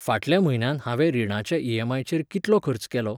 फाटल्या म्हयन्यांत हांवें रिणाच्या ई.एम.आय.चेर कितलो खर्च केलो?